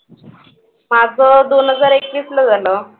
माझं दोन हजार एकवीसला झालं.